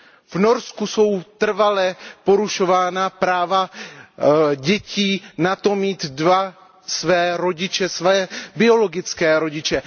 V Norsku jsou trvale porušována práva dětí na to mít dva své rodiče, své biologické rodiče.